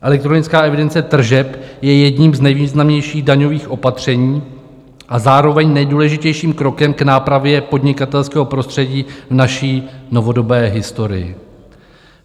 Elektronická evidence tržeb je jedním z nejvýznamnějších daňových opatření a zároveň nejdůležitějším krokem k nápravě podnikatelského prostředí v naší novodobé historii.